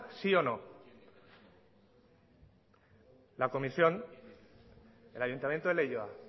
sí o no la comisión el ayuntamiento de leioa